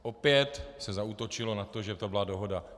Opět se zaútočilo na to, že to byla dohoda.